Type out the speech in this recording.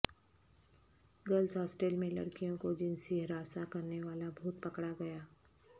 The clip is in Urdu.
گرلز ہاسٹل میں لڑکیوں کو جنسی ہراساں کرنے والا بھوت پکڑ اگیا